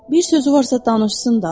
Bir sözü varsa danışsın da.